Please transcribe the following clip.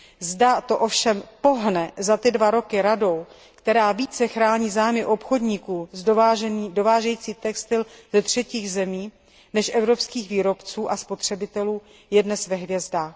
Zda to ovšem pohne za ty dva roky Radou, která více chrání zájmy obchodníků dovážejících textil ze třetích zemích než evropských výrobců a spotřebitelů, je dnes ve hvězdách.